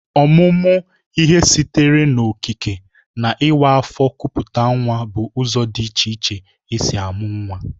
Ọmụmụ ihe sitere n'okike na ịwa afọ kupute nwa bụ ụzọ dị iche iche e si amụ nwa